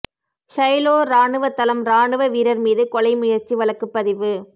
Shiloh ராணுவத்தளம் இராணுவ வீரர் மீது கொலை முயற்சி வழக்கு பதிவு